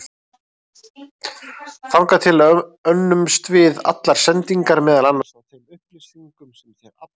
Þangað til önnumst við allar sendingar, meðal annars á þeim upplýsingum sem þér aflið.